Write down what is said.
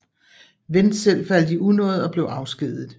Wendt selv faldt i unåde og blev afskediget